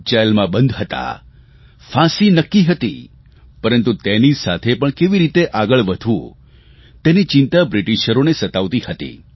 જેલમાં બંધ હતા ફાંસી નક્કી હતી પરંતુ તેની સાથે પણ કેવી રીતે આગળ વધવું તેની ચિંતા બ્રિટિશરોને સતાવતી હતી